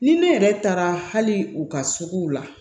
Ni ne yɛrɛ taara hali u ka suguw la